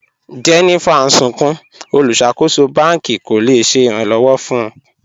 Jennifer n sùnkún, olúṣakòsò bàn̄kì kò le ṣẹ̀ ìràn-lọ́wọ̀ fún wọ̀.